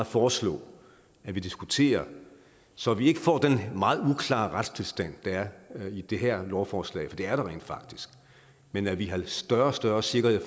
foreslå at vi diskuterer så vi ikke får den meget uklare retstilstand der er i det her lovforslag for det er der rent faktisk men at vi har større og større sikkerhed i